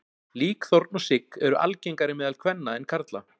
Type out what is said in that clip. Líkþorn og sigg eru algengari meðal kvenna en karla.